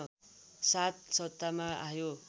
साथ सत्तामा आयो